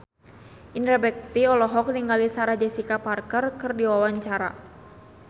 Indra Bekti olohok ningali Sarah Jessica Parker keur diwawancara